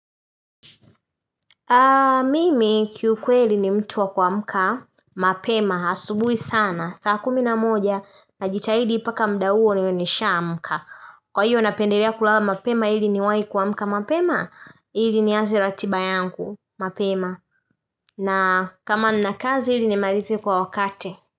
Mimi kiukweli ni mtu wa kuamka, mapema, asubui sana, saa kumi na moja najitahidi mpaka muda huo niwe nishaamka. Kwa hiyo napendelea kulala mapema hili niwai kuamka mapema hili nianze ratiba yangu mapema na kama nina kazi ili nimalize kwa wakati.